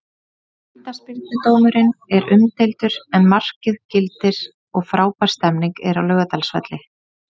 Vítaspyrnudómurinn er umdeildur en markið gildir og frábær stemning er á Laugardalsvelli.